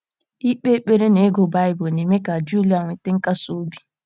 Ikpe ekpere na ịgụ Baịbụl na - eme ka Julia nweta nkasi obi.